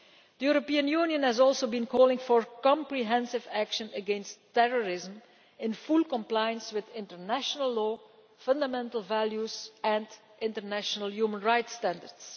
The European Union has also been calling for comprehensive action against terrorism, in full compliance with international law, fundamental values and international human rights standards.